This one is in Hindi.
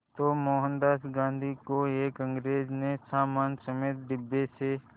तो मोहनदास गांधी को एक अंग्रेज़ ने सामान समेत डिब्बे से